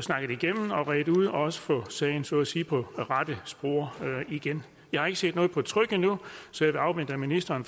snakket igennem og redt ud og også få sagen så at sige på rette spor igen jeg har ikke set noget på tryk endnu så jeg vil afvente at ministeren